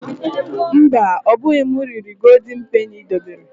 Mba, ọbụghị m riri Goldin Peni i debere.